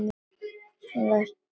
Þú ert að ógna mér.